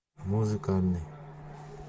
музыкальный